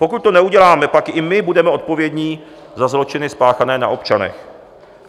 Pokud to neuděláme, pak i my budeme odpovědní za zločiny spáchané na občanech.